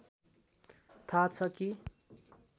थाह छ कि